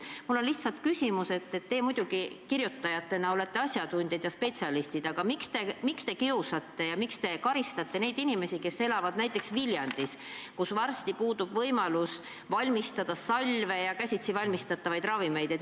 Mul on selline küsimus: teie kirjutajatena olete muidugi asjatundjad, aga miks te kiusate ja karistate neid inimesi, kes elavad näiteks Viljandis, kus varsti kaob võimalus valmistada salve ja teha käsitsi ravimeid?